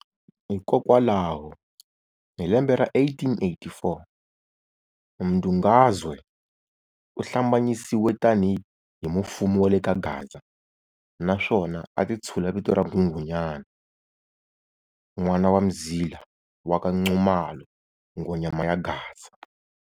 Hikokwalaho hi lembe ra 1884, Mdungazwe u hlambanyisiwe tani hi mufumi wa le kaGaza naswona a ti tshula vito ra Nghunghunyana n'wana wa Mzila wa ka Nxumalo"Nghonyama ya Gaza".